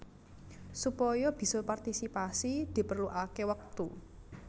Supaya bisa partisipasi diperluaké wektu